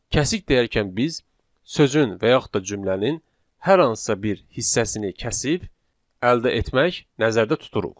Kəsik deyərkən biz sözün və yaxud da cümlənin hər hansısa bir hissəsini kəsib əldə etmək nəzərdə tuturuq.